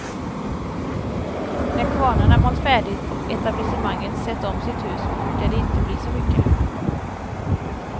När kvarnarna malt färdigt och etablissemanget sett om sitt hus brukar det inte bli så mycket.